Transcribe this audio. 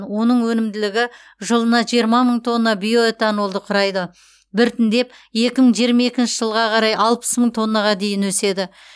оның өнімділігі жылына жиырма мың тонна биоэтанолды құрайды біртіндеп екі мың жиырма екінші жылға қарай алпыс мың тоннаға дейін өседі